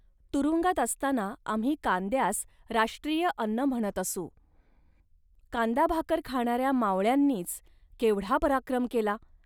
तुरुंगात असताना आम्ही कांद्यास राष्ट्रीय अन्न म्हणत असू. कांदाभाकर खाणाऱ्या मावळ्यांनीच केवढा पराक्रम केला